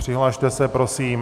Přihlaste se prosím.